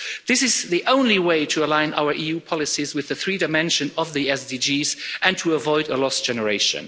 This is the only way to align our EU policies with the three dimensions of the SDGs and to avoid a lost generation.